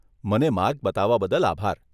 મને માર્ગ બતાવવા બદલ આભાર.